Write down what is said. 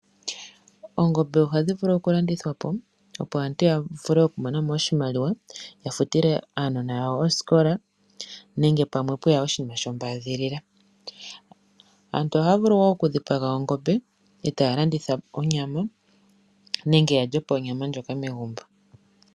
Oongombe ohadji vulu okulandithwa opo aantu ya mone oshimaliwa ya futile aanona oosikola nenge ngele pweya oshinima shombaadhilila. Aantu ohaya vulu woo okudhipaga ongombe e taya landitha onyama nenge ya lye onyama ndjoka megumbo.